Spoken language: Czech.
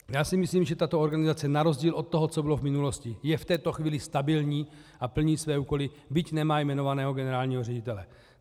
Já si myslím, že tato organizace na rozdíl od toho, co bylo v minulosti, je v této chvíli stabilní a plní své úkoly, byť nemá jmenovaného generálního ředitele.